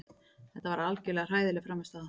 Þetta var algjörlega hræðileg frammistaða.